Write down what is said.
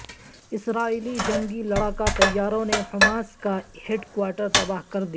اسرائیلی جنگی لڑاکا طیاروں نے حماس کا ہیڈ کوارٹر تباہ کر دیا